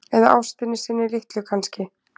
Eða ástinni sinni litlu kannski.